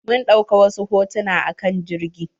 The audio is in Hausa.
Mun dauƙa wasu hotuna a kan jirgi.